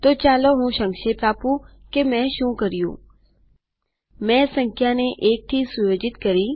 તો ચાલો હું સંક્ષેપ આપું કે મેં શું કર્યુંમેં સંખ્યાને ૧ થી સેટ કરી